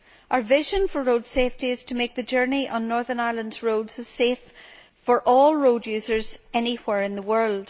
Our vision for road safety is to make journeys on Northern Ireland's roads as safe for all road users as anywhere in the world.